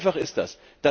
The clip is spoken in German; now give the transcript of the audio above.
So einfach ist das.